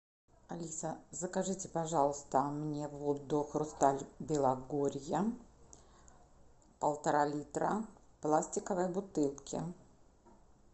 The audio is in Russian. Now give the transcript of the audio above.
алиса закажите пожалуйста мне воду хрусталь белогорья полтора литра в пластиковой бутылке